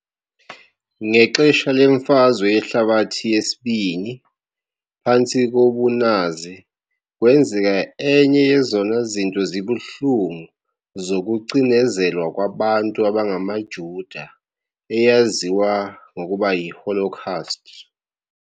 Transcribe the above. Ngexesha leMfazwe Yehlabathi II, phantsi kobunazi, kwenzeka enye yezona zinto zibuhlungu zokucinezelwa kwabantu abangamaJuda, eyaziwa ngokuba yiHolocaust.